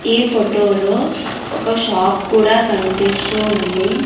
ఈ ఫొటో లో ఒక షాప్ కూడా కన్పిస్తూ ఉంది.